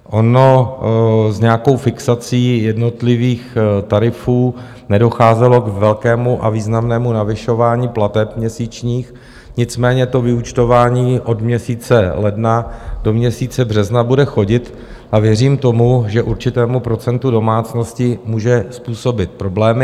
Ono s nějakou fixací jednotlivých tarifů nedocházelo k velkému a významnému navyšování plateb měsíčních, nicméně to vyúčtování od měsíce ledna do měsíce března bude chodit a věřím tomu, že určitému procentu domácností může způsobit problémy.